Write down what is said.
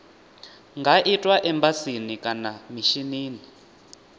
nga itwa embasini kana mishinini